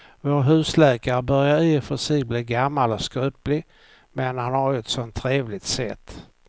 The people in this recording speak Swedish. Vår husläkare börjar i och för sig bli gammal och skröplig, men han har ju ett sådant trevligt sätt!